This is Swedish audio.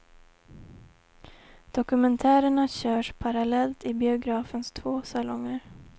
Dokumentärerna körs parallellt i biografens två salonger.